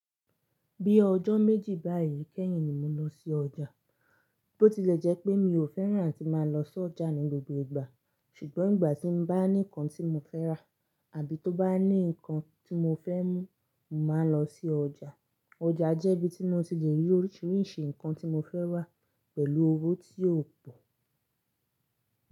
Bí ọjọ́ méjì báyìí kẹ́yìn ni mo lọ sí ọjà. Tó ti lẹ̀ jẹ́ pé mi ò fẹ́ràn tí máa lọ sí ọjà ní gbogbo ìgbà, ṣùgbọ́n ìgbà tí n bá ní nǹkan tí mo fẹ́ rà àbí tó bá ní nǹkan tí mo fẹ́ mú, mo màá n lọ sí ọjà. Ọjà jẹ́ ibi tí mo ti lè rí oríṣiríṣi nǹkan tí mo fẹ́ rà pẹ̀lú owó tí ò pọ̀.